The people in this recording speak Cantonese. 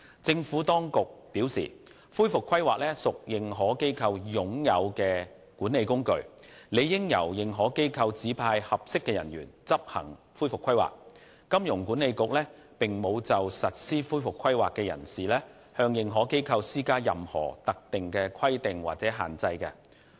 政府當局表示，恢復規劃屬認可機構"擁有"的管理工具，理應由認可機構指派合適的人員執行恢復規劃，香港金融管理局並無就實施恢復規劃的人士向認可機構施加任何特定的規定或限制。